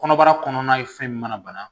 Kɔnɔbara kɔnɔna ye fɛn min mana bana